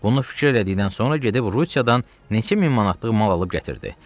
Bunu fikir elədikdən sonra gedib Rusiyadan neçə min manatlıq mal alıb gətirdi.